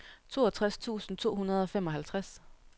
toogtres tusind to hundrede og femoghalvtreds